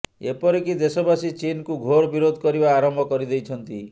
ଏପରିକି ଦେଶବାସୀ ଚୀନକୁ ଘୋର ବିରୋଧ କରିବା ଆରମ୍ଭ କରିଦେଇଛନ୍ତି